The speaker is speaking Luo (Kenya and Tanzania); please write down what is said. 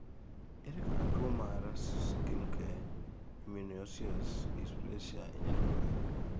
ere kaka tuwo mar schimke immunoosseous dysplasia inyalo fweny?